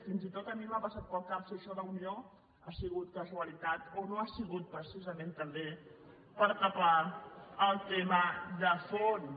fins i tot a mi m’ha passat pel cap que això d’unió ha sigut casualitat o no ha sigut precisament també per tapar el tema de fons